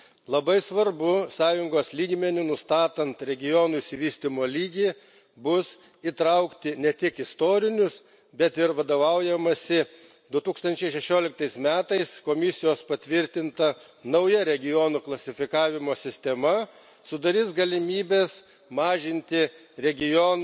Labai svarbu, Sąjungos lygmeniu nustatant regionų išsivystymo lygį, bus įtraukti ne tik istorinius, bet ir vadovaujamasi 2016 ais metais Komisijos patvirtinta nauja regionų klasifikavimo sistema sudarys galimybes mažinti regionų